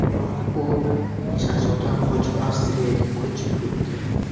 Biroq u jazodan qochib, Avstriyaga ko‘chib o‘tdi.